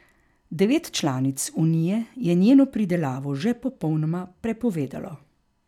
Devet članic unije je njeno pridelavo že popolnoma prepovedalo.